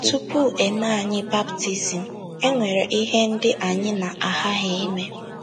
Tupu e mee anyị baptizim, e nwere ihe ndị anyị na-aghaghị ime.